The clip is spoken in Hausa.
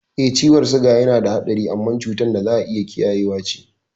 Eh, ciwon siga yanada hatsari amma cutar da za'a iya kiyayewa ce.